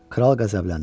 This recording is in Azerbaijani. Kral qəzəbləndi.